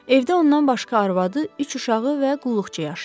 Evdə ondan başqa arvadı, üç uşağı və qulluqçusu yaşayır.